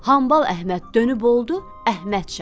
Amma Əhməd dönüb oldu Əhməd şah.